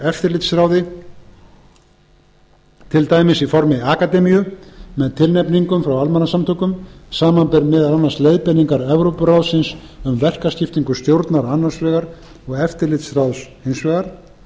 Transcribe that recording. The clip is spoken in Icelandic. eftirlitsráði til dæmis í formi akademíu með tilnefningum frá almannasamtökum samanber meðal annars leiðbeiningar evrópuráðsins um verkaskiptingu stjórnar annars vegar og eftirlitsráðs hins vegar